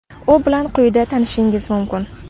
U bilan quyida tanishishingiz mumkin.